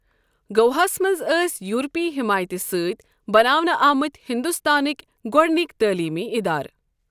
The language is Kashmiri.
گوواہس منز ٲسۍ یورپی حمایتہ سۭتۍ بناونہٕ آمٕتۍ ہندوستانٕكۍ گوڈنِكۍ تٲلیمی ادارٕ ۔